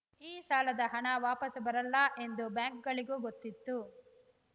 ಈ ಸಾಲದ ಹಣ ವಾಪಸು ಬರಲ್ಲ ಎಂದು ಬ್ಯಾಂಕ್‌ಗಳಿಗೂ ಗೊತ್ತಿತ್ತು